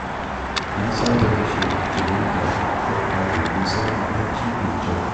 Na saba kashe fitilu kafin in kwanta domin samun bacci mai kyau.